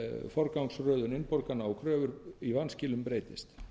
forgangsröðun innborgana á körfur í vanskilum breytist